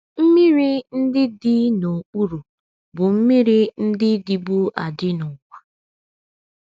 Mmiri ndị dị “ n’okpuru ” bụ mmiri ndị dịbu adị n’ụwa.